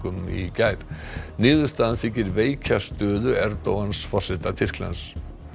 í gær niðurstaðan þykir veikja stöðu forseta Tyrklands